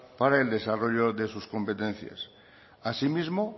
para el desarrollo de sus competencias asimismo